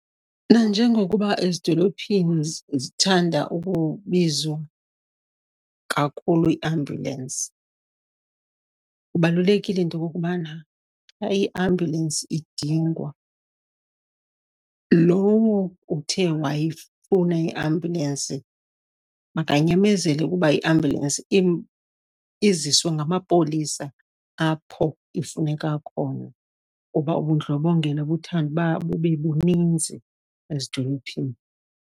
Nanjengokuba ezidolophini zithanda ukubizwa kakhulu iiambulensi, kubalulekile into okubana xa iambulensi idingwa, lowo uthe wayifuna iambulensi makanyamezele kuba iambulensi iziswa ngamapolisa apho ifuneka khona kuba ubundlobongela buthande uba bube buninzi ezidolophini.